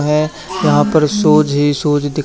है यहां पर शूज ही शूज दिख--